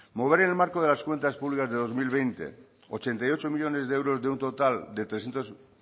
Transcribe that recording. mover el marco de las cuentas públicas de dos mil veinte ochenta y ocho millónes de euros de un total de trescientos